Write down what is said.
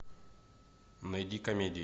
найди комедии